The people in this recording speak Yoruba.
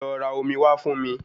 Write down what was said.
Lọ ra omi wá fún mi